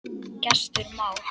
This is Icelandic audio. Gestur Már.